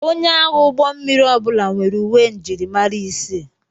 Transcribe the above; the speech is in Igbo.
Onye agha ụgbọ mmiri ọbụla nwere uwe njirimara isii.